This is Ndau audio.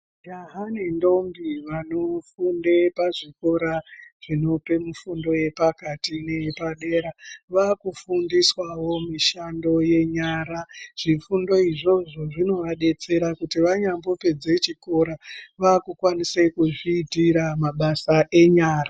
Majaha nendombi vanofunde pazvikora zvinope mifundo yepakati neyepadera, vakufundiswavo mishando yenyara. Zvifundo izvozvo zvinovadetsera kuti vanyambopedze chikora, vakukwanise kuzviitira mabasa enyara.